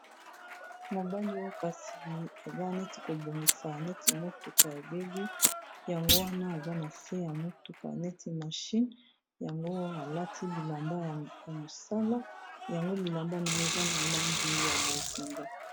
Mobali oyo kasi aza neti kobongisa neti motuka yebebi yango wana aza na se ya motuka neti mashine yango alati bilamba ya mosala yango bilamba naye eza na langi ya bozinga